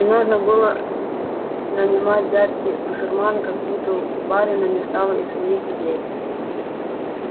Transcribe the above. и нужно было нанимать дядьки басурмана как будто у барина не стало и своих людей